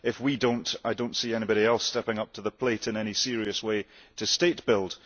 If we do not, I do not see anybody else stepping up to the plate in any serious way to state build.